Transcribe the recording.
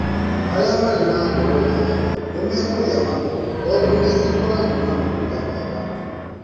Arĩa marĩ na ngoro njega nĩ mekũrĩa makondo tondũ nĩ ikoragwo na maguta mega.